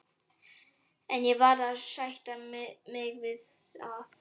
En ég varð að sætta mig við að